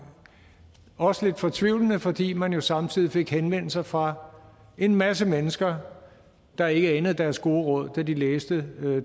også lidt fortvivlende fordi man jo samtidig fik henvendelser fra en masse mennesker der ikke anede deres gode råd da de læste